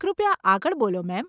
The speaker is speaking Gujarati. કૃપયા આગળ બોલો મેમ.